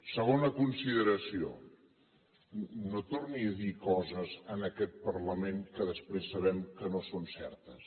segona consideració no torni a dir coses en aquest parlament que després sabem que no són certes